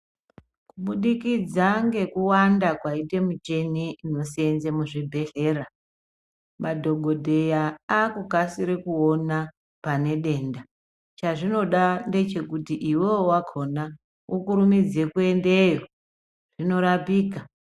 Kubudikidza ngekuwanda kwaita miteni inoseenza muzvibhehleya, madhokodheya akukasira kuona pane denda, chazvinoda ndechekuti iwewe wakhona ukurumidze muendeyo, zvinorapika.